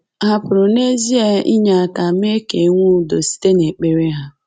Hà pụrụ n’ezie inye aka mee ka e nwee udo site n’ekpere ha?